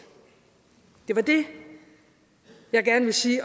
det var det jeg gerne ville sige